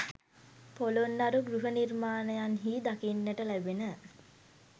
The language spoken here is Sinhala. පොළොන්නරු ගෘහ නිර්මාණයන්හි දකින්නට ලැබෙන